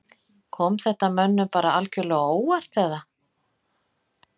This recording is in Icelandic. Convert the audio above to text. Kom þetta mönnum bara algjörlega á óvart eða?